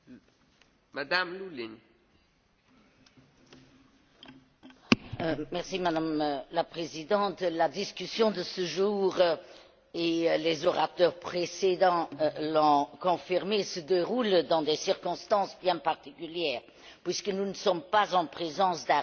Madame la Présidente, la discussion de ce jour et les orateurs précédents l'ont confirmé se déroule dans des circonstances bien particulières, puisque nous ne sommes pas en présence d'un rapport